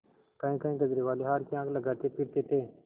कहींकहीं गजरेवाले हार की हाँक लगाते फिरते थे